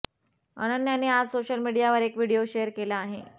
अनन्याने आज सोशल मीडियावर एक व्हिडिओ शेअर केला आहे